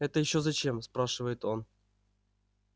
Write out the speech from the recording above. это ещё зачем спрашивает он